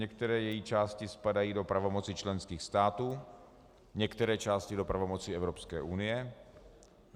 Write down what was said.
Některé její části spadají do pravomoci členských států, některé části do pravomoci Evropské unie.